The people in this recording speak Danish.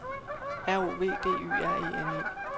R O V D Y R E N E